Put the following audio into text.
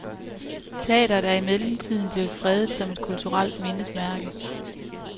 Teatret er i mellemtiden er blevet fredet som et kulturelt mindesmærke.